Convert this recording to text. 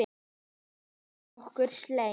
Hann vill, að okkur semji.